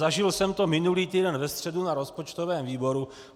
Zažil jsem to minulý týden ve středu na rozpočtovém výboru.